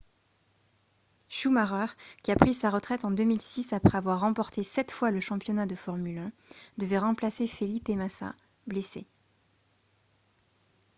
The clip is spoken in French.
schumacher qui a pris sa retraite en 2006 après avoir remporté sept fois le championnat de formule 1 devait remplacer felipe massa blessé